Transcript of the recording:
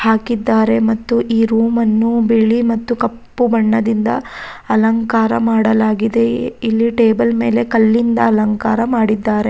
ಹಾಕಿದ್ದಾರೆ ಮತ್ತು ಈ ರೂಮನ್ನು ಬಿಳಿ ಮತ್ತು ಕಪ್ಪು ಬಣ್ಣದಿಂದ ಅಲಂಕಾರ ಮಾಡಲಾಗಿದೆ ಇ ಇಲ್ಲಿ ಟೇಬಲ್ ಮೇಲೆ ಕಲ್ಲಿಂದ ಅಲಂಕಾರ ಮಾಡಿದ್ದಾರೆ.